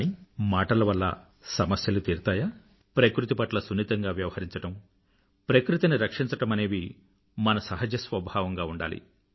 కానీ మాటల వల్ల సమస్యలు తీరతాయా ప్రకృతి పట్ల సున్నితంగా వ్యవహరించడం ప్రకృతిని రక్షించడమనేవి మన సహజ స్వభావంగా ఉండాలి